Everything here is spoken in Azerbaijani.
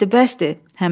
Bəsdir, bəsdir.